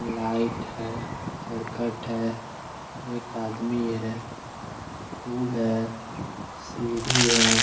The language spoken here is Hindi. लाइट है करकट है एक आदमी है फूल है सीढी है।